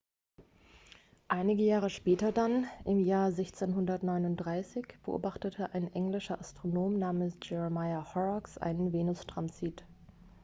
einige jahre später dann im jahr 1639 beobachtete ein englischer astronom namens jeremiah horrocks einen venustransit